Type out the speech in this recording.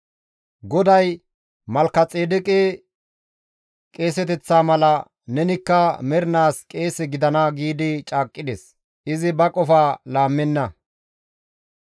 GODAY, «Malkexeedeqe qeeseteththa mala nenikka mernaas qeese gidana» giidi caaqqides; izi ba qofa laammenna.